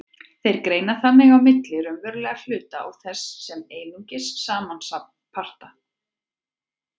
Þeir greina þannig á milli raunverulegra hluta og þess sem er einungis samansafn parta.